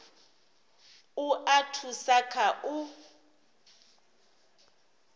u a thusa kha u